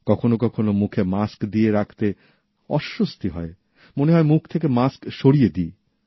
কখনো কখনো মুখে মাস্ক দিয়ে রাখতে অস্বস্তি হয় মনে হয় মুখ থেকে মাস্ক সরিয়ে ফেলি